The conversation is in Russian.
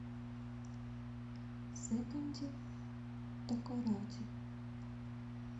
секонди такоради